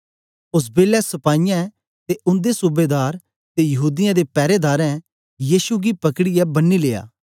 ओस बेलै सपाईयें ते उन्दे सूबेदार ते यहूदीयें दे पैरेदारें यीशु गी पकड़ीयै बन्नी लेया